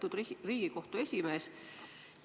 Lugupeetud Riigikohtu esimees!